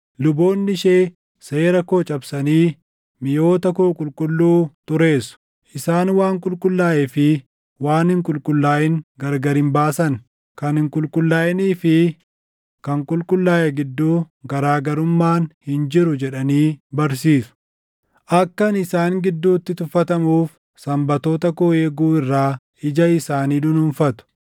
Luboonni ishee seera koo cabsanii miʼoota koo qulqulluu xureessu; isaan waan qulqullaaʼee fi waan hin qulqullaaʼin gargar hin baasan; kan hin qulqullaaʼinii fi kan qulqullaaʼe gidduu garaa garummaan hin jiru jedhanii barsiisu; akka ani isaan gidduutti tuffatamuuf Sanbatoota koo eeguu irraa ija isaanii dunuunfatu.